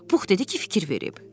Pux dedi ki, fikir verib.